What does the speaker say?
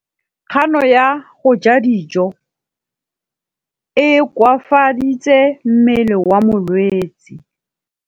Kganô ya go ja dijo e koafaditse mmele wa molwetse.